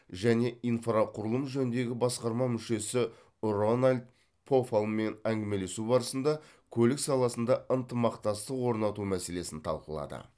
және инфрақұрылым жөніндегі басқарма мүшесі рональд пофаллмен әңгімелесу барысында көлік саласында ынтымақтастық орнату мәселесін талқылады